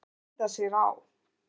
Þau gæða sér á